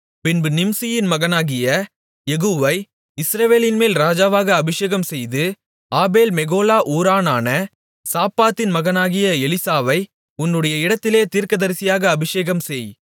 பின்பு நிம்சியின் மகனாகிய யெகூவை இஸ்ரவேலின்மேல் ராஜாவாக அபிஷேகம்செய்து ஆபேல் மெகொலா ஊரானான சாப்பாத்தின் மகனாகிய எலிசாவை உன்னுடைய இடத்திலே தீர்க்கதரிசியாக அபிஷேகம்செய்